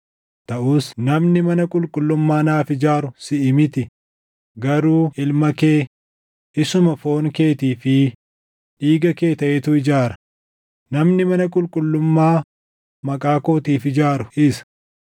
Taʼus namni mana qulqullummaa naaf ijaaru siʼi miti; garuu ilma kee, isuma foon keetii fi dhiiga kee taʼetu ijaara; namni mana qulqullummaa Maqaa kootiif ijaaru isa.’